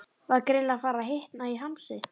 Var greinilega farið að hitna í hamsi.